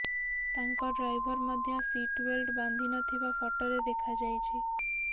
ତାଙ୍କ ଡ୍ରାଇଭର୍ ମଧ୍ୟ ସିଟ୍ବେଲ୍ଟ୍ ବାନ୍ଧି ନଥିବା ଫଟୋରେ ଦେଖାଯାଇଛି